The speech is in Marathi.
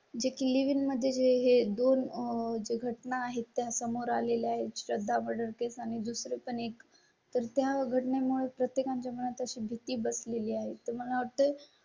जे कि लिव्हिंग मध्ये हे दोन घटना आहेत त्या समोर आले आहेत. श्रद्धा वर केस आणि दुसरं पण एक तर त्या वगैरे मुळे प्रत्येका च्या मनात अशी भीती बस लेली आहे. तुम्हाला होटल